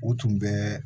U tun bɛ